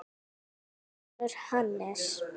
Þinn sonur, Hannes.